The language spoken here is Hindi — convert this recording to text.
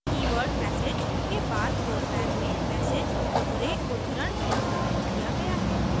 keyword message के बाद program में message दोहरे उद्धरणचिन्हों में दिया गया है